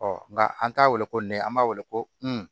Ɔ nka an t'a weele ko nɛgɛ an b'a weele ko un